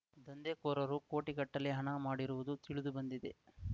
ದಂಧೆಕೋರರು ಕೋಟಿಗಟ್ಟಲೆ ಹಣ ಮಾಡಿರುವುದು ತಿಳಿದು ಬಂದಿದೆ